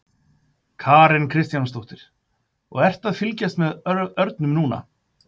Karen Kjartansdóttir: Og ertu að fylgjast með örnum núna?